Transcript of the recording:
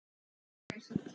Komast þeir???